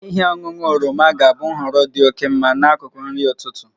Ihe ọṅụṅụ oroma ga-abụ nhọrọ dị oke mma n'akụkụ nri ụtụtụ